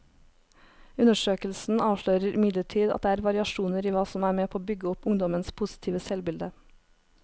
Undersøkelsen avslører imidlertid at det er variasjoner i hva som er med på å bygge opp ungdommenes positive selvbilde.